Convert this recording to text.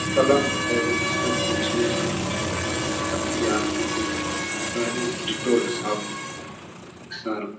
Colour है सब कुछ है डेटॉल साबुन सर्फ ।